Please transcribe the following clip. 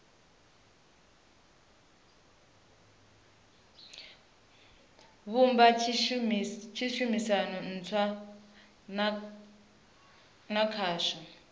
vhumba tshumisano ntswa na khasho